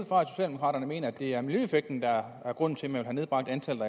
fra at socialdemokraterne mener at det er miljøeffekten der er grunden til at man vil have nedbragt antallet